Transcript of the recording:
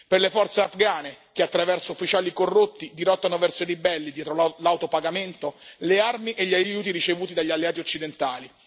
per le forze afghane, che attraverso ufficiali corrotti dirottano verso i ribelli, dietro lauto pagamento, le armi e gli aiuti ricevuti dagli alleati occidentali